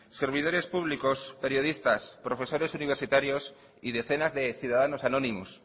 servidores públicos periodistas profesores universitarios y decenas de ciudadanos anónimos